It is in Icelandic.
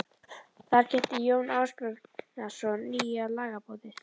Þar kynnti Jón Ásbjarnarson nýja lagaboðið.